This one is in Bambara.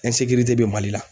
bɛ bɛ Mali la.